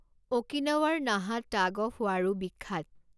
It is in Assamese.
অ'কিনাৱাৰ নাহা টাগ অফ ৱাৰো বিখ্যাত।